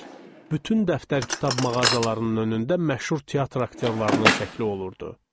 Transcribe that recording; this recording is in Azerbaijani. Bütün dəftər-kitab mağazalarının önündə məşhur teatr aktyorlarının şəkli olurdu.